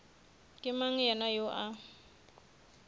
ke mang yena yoo a